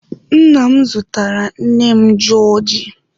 Nna m zụtara nne m jọọjị.